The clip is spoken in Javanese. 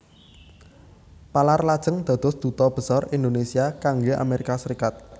Palar lajeng dados Duta Besar Indonesia kangge Amerika Serikat